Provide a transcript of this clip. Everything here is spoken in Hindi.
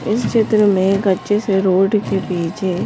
इस चित्र में एक अच्छे से रोड के पीछे --